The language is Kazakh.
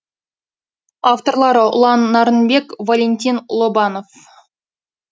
авторлары ұлан нарынбек валентин лобанов